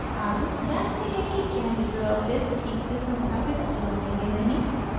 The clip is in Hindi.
अब जाँचते हैं कि क्या लिबरे ऑफिस ठीक से संस्थापित हुआ है या नहीं